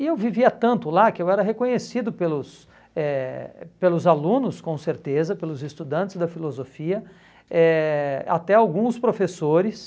E eu vivia tanto lá que eu era reconhecido pelos eh pelos alunos, com certeza, pelos estudantes da filosofia, eh até alguns professores.